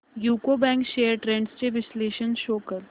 UCO bank shares trends चे विश्लेषण show कर